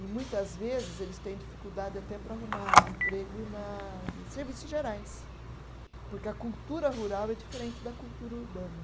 E muitas vezes eles têm dificuldade até para arrumar emprego na, em serviços gerais, porque a cultura rural é diferente da cultura urbana.